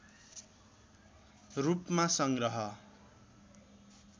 रूपमा संग्रह